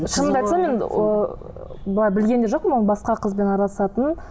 шынымды айтсам енді ы былай білген де жоқпын оның басқа қызбен араласытынын